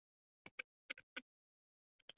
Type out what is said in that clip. Menn biskups héldu um fætur honum.